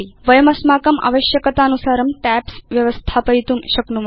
वयम् अस्माकम् आवश्यकतानुसारं टैब्स् व्यवस्थापयितुं शक्नुम